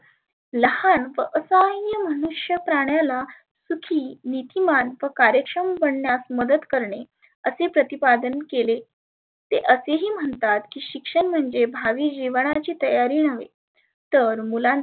लहान असाह्य मनुष्य प्राण्याला सुखी निथी मार्प कर्यक्षम बनन्यास मदत करणे. असे प्रतिपादन केले. ते असे ही म्हणतात शिक्षण म्हणजे भावी जिवनाची तयारी नव्हे तर मुलांचे